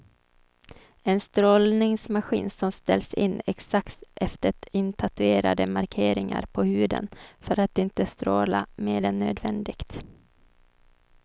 En strålningsmaskin som ställs in exakt efter intatuerade markeringar på huden för att inte stråla mer än nödvändigt.